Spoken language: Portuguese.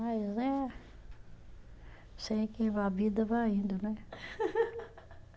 Mas, é, sei que a vida vai indo, né?